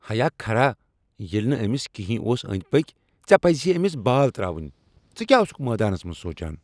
ہیا خرا! ییٚلہ نہٕ أمِس کٕہنۍ اوس أندۍ پٔکۍ ژے پزِہی أمِس بال تراوٕنۍ۔ ژٕ کیا اوسُکھ میدانس منز سوچان؟